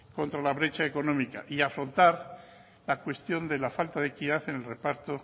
contra la brecha económica y afrontar la cuestión de la falta de equidad en el reparto